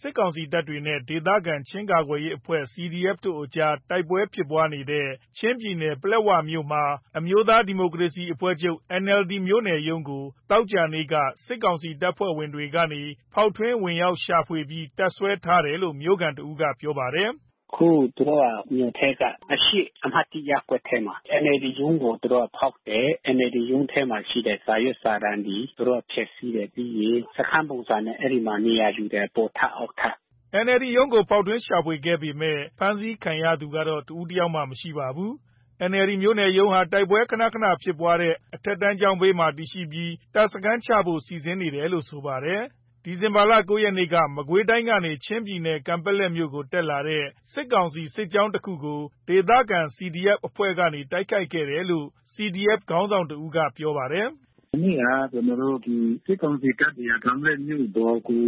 စစ်ကောင်စီတပ်နဲ့ဒေသခံ ချင်းကာကွယ်ရေးအဖွဲ့ CDF ကြား တိုက်ပွဲဖြစ်နေတဲ့ ချင်းပြည်နယ်၊ ပလက်ဝမြို့မှာ အမျိုးသား ဒီမိုကရေစီအဖွဲ့ချုပ် NLD မြို့နယ်ရုံးကို သောကြာနေ့မှာ စစ်ကောင်စီတပ်ဖွဲ့ကနေ ဖောက်ထွင်းဝင်ရောက်ရှာဖွေပြီး တပ်စွဲထားတယ်လို့ မြို့ခံတဦးကပြောပါတယ်။ “အခုသူတို့ကမြို့ထဲက အရှေ့အမှတ်(၁)ရပ်ကွက်ထဲမှာ NLDရုံးကိုသူတို့ဖောက်တယ်။ NLDရုံးထဲမှာရှိတဲ့ စာရွက် စာတန်းတွေ သူတို့ကဖျက်စီးတယ်။ ပြီးတော့ အဲဒီမှာ စခန်းပုံစံနဲ့နေရာယူတယ်။ အပေါ်ထပ် အောက်ထပ်။’’ NLD ရုံးကို ဖောက်ထွင်းရှာဖွေခဲ့ပေမဲ့ ဖမ်းဆီးခံရသူတော့ တဦးတယောက်မှ မရှိခဲ့ပါဘူး။ NLD မြို့နယ်ရုံးဟာ တိုက်ပွဲခနခနဖြစ်နေတဲ့ အထက်တန်းကျောင်းဘေးမှာ တည်ရှိနေပြီး တပ်စခန်းချဖို့စီစဉ်နေတယ်လို့ဆိုပါတယ်။ ဒီဇင်ဘာ ၉ ရက်နေ့မှာ မကွေးတိုင်းကနေ ချင်းပြည်နယ် ကန်ပက်လက်မြို့ကိုတက်လာတဲ့ စစ်ကောင်စီ စစ်ကြောင်းတခုကို ဒေသခံ CDF အဖွဲ့ ကနေ တိုက်ခိုက်ခဲ့တယ်လို့ CDF ခေါင်းဆောင်တဦးကပြောပါတယ်။ “မနေ့က ကျနော်တို့ဒီ စစ်ကောင်စီတပ်တွေက ကန်ပက်လက်မြို့ပေါ်ကို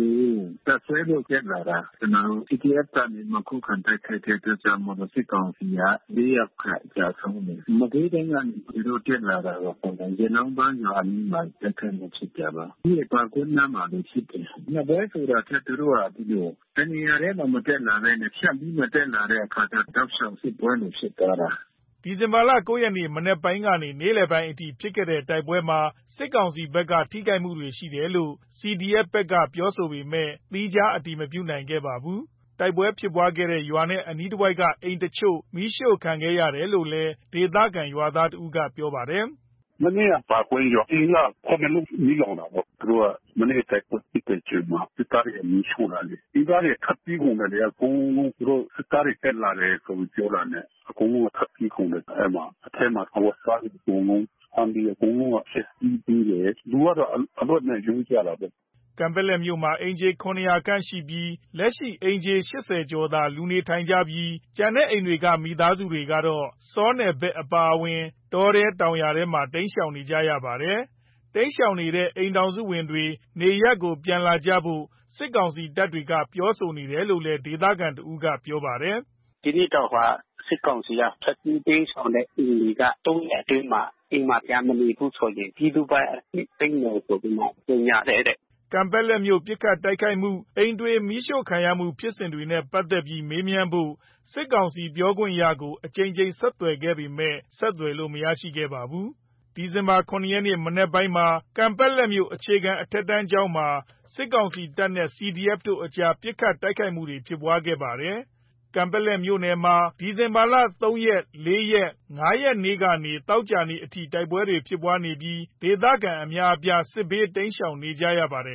တပ်စွဲဖို့တက်လာတာ ကျနော်တို့ PDF က ခုခံတိုက်ခိုက်တဲ့အတွက်ကြောင့်မို့လို့ စစ်ကောင်စီက ၄ ယောက်ခန့်ကျဆုံးတယ်။ မကွေးတိုင်းကနေ သူတို့တက်လာတာပေါ့။ ရဲနောင်းပန်းရွာအနီးမှာ တိုက်ခိုက်မှုဖြစ်ကြတယ်။ ပြီးရင် ပါကွီးနားမှာလဲဖြစ်တယ်။ နှစ်ပွဲဆိုတာထက် သူတို့ကဒီလို တနေရာထဲမတက်လာဘဲနဲ့ ဖြန့်ပြီးတော့ တက်လာတဲ့အခါကျ တောက်လျှောက်စစ်ပွဲတွေဖြစ်သွားတာ။’’ မနေ့က ဒီဇင်ဘာ ၉ ရက် မနက်ပိုင်းကနေ နေ့လည်အထိ ဖြစ်တဲ့တိုက်ပွဲမှာ စစ်ကောင်စီတပ်ဘက်က ထိခိုက်မှုရှိတယ်လို့ CDF ဘက်ကဆိုပေမဲ့ သီးခြားအတည်မပြုနိုင်သေးပါဘူး။ တိုက်ပွဲဖြစ်ခဲ့တဲ့ရွာနဲ့အနီးတဝိုက်က အိမ်တချို့ မီးရှို့ခံခဲ့ရတယ်လို့လည်း ဒေသခံရွာသားတဦးကပြောပါတယ်။ “မနေ့က ပါကွီးရွာက အိမ် ၇ လုံးမီးလောင်တာပေါ့။ သူတို့က မနေ့ကတိုက်ပွဲဖြစ်တဲ့အချိန်မှာ စစ်သားတွေမီးရှို့ လိုက်တယ်။ ဒေသခံတွေထွက်ပြေးကုန်တယ် ဒီကအကုန်လုံး။ သူတို့စစ်သားတွေတက်လာတယ်ဆို ပြောတာနဲ့ အကုန်လုံး ထွက်ပြေးကုန်တယ် အဲဒီမှာ။ အထဲမှာအဝတ်အစားတွေအကုန်လုံး ဆန်တွေအကုန်လုံးက ဖျက်ဆီးသေးတယ်။ လူကတော့အလွတ်နဲ့ရုန်းကြတာပေါ့။’’ ကန်ပက်လက်မြို့မှာ အိမ်ခြေ ၇၀၀ ခန့်ရှိနေပြီး လက်ရှိအိမ်ခြေ ၈၀ ကျော်သာ လူနေထိုင်ကြပြီးတော့ ကျန်တဲ့အိမ်တွေဟာ ဆောနယ်ဘက်အပါအဝင် တောထဲ၊ တောင်ယာထဲမှာ တိမ်းရှောင်နေကြရပါတယ်။ တိမ်းရှောင်နေတဲ့အိမ်ထောင်စုတွေ နေရပ်ပြန်လာဖို့ စစ်ကောင်စီတပ်ကနေ ပြောဆိုလာတယ်လို့ ဒေသခံတဦးက ပြောပါတယ်။ “ဒီနေ့တော့ စစ်ကောင်စီက ထွက်ပြေးတိမ်းရှောင်တဲ့သူတွေ ၃ ရက်အတွင်းမှာ အိမ်မှာပြန်မနေဘူးဆိုရင် ပြည်သူပိုင်အဖြစ် သိမ်းမယ်ဆိုပြီးမှ ကြေညာတယ်တဲ့။ ’’ ကန်ပက်လက်မြို့ ပစ်ခတ်တိုက်ခိုက်မှု၊ အိမ်တွေ မီးရှို့ခံရမှု ဖြစ်ရပ်တွေနဲ့ပတ်သက်ပြီး မေးမြန်းဖို့ စစ်ကောင်စီပြောခွင့်ရကို အကြိမ်ကြိမ်ဆက်သွယ်ခဲ့ပေမဲ့ မရခဲ့ပါဘူး။ ဒီဇင်ဘာ ၇ ရက်နေ့မနက်ပိုင်းမှာ ကန်ပက်လက်မြို့ အခြေခံပညာအထက်တန်းကျောင်းမှာ စစ်ကောင်စီတပ်နဲ့ CDF အဖွဲ့တို့အကြား ပစ်ခတ်တိုက်ခိုက်မှုဖြစ်ခဲ့ပါတယ်။ ကန်ပက်လက်မြို့နယ်မှာ ပြီးခဲ့တဲ့ ဒီဇင်ဘာ ၃ ရက်၊ ၄ ရက်နဲ့ ၅ ရက်နေ့ကနေ သောကြာနေ့အထိ တိုက်ပွဲဖြစ်နေပြီး ဒေသခံအများအပြား စစ်ဘေးတိမ်းရှောင်နေရပါတယ်